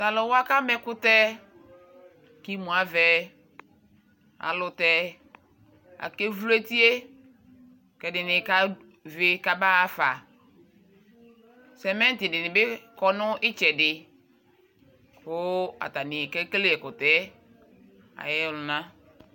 taluwa ka mɛ ɛkukɛ k'imoa vɛ ayɛlutɛ akeʋlo etie kɛ ɛɖini ka ʋi ka ma ɣa ƒa semɛti ɖi ni by kɔ ni tchɛ di ko atani ke kele ɛkotɛ ayɔluna